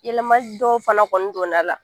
Yɛlɛmali dɔw fana kɔni donn'a la